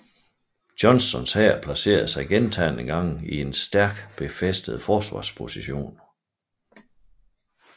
Johnstons hær placerede sig gentagne gange i stærkt befæstede forsvarspositioner